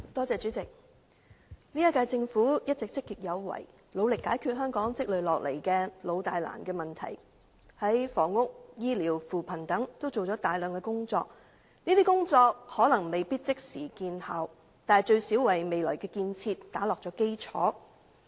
主席，本屆政府一直積極有為，努力解決香港積累下來的老大難問題，在房屋、醫療、扶貧等方面均做了大量工作，這些工作可能未必即時見效，但最少為未來建設打下基礎。